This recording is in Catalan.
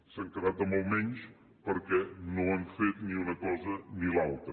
s’han quedat amb el menys perquè no han fet ni una cosa ni l’altra